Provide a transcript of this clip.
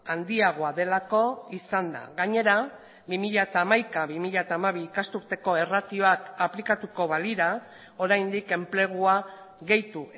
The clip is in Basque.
handiagoa delako izan da gainera bi mila hamaika bi mila hamabi ikasturteko erratioak aplikatuko balira oraindik enplegua gehitu